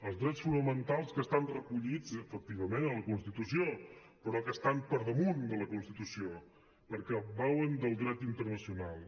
els drets fonamentals que estan recollits efectivament en la constitució però que estan per damunt de la constitució perquè beuen del dret internacional